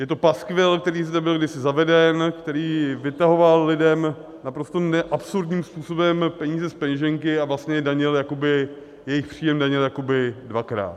Je to paskvil, který zde byl kdysi zaveden, který vytahoval lidem naprosto absurdním způsobem peníze z peněženky a vlastně jejich příjem danil jakoby dvakrát.